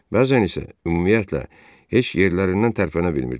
Bəzən isə ümumiyyətlə heç yerlərindən tərpənə bilmirdilər.